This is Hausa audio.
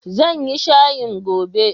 Zan yi shayin gobe.